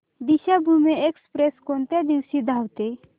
Deekshabhoomi express कोणत्या दिवशी धावते